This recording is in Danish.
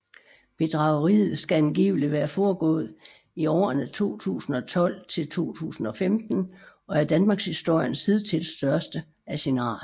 Bedrageriet skal angiveligt være foregået i årene 2012 til 2015 og er danmarkshistoriens hidtil største af sin art